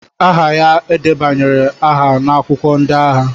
aha ya e debanyere aha n'akwụkwọ ndị agha